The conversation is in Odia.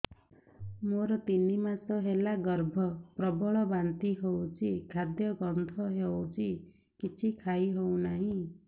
ମୋର ତିନି ମାସ ହେଲା ଗର୍ଭ ପ୍ରବଳ ବାନ୍ତି ହଉଚି ଖାଦ୍ୟ ଗନ୍ଧ ହଉଚି କିଛି ଖାଇ ହଉନାହିଁ